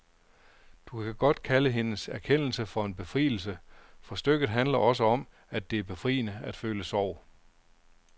Du kan godt kalde hendes erkendelse for en befrielse, for stykket handler også om, at det er befriende at føle sorg.